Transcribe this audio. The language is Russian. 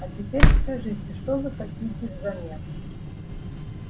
а теперь скажите что вы хотите взамен